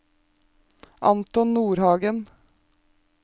Anton Nordhagen